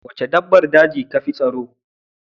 Waca dabbar daji kafi tsaro?